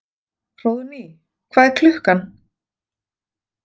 Hróðný, hvað er klukkan?